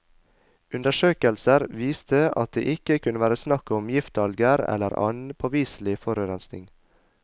Undersøkelser viste at det ikke kunne være snakk om giftalger eller annen påviselig forurensning.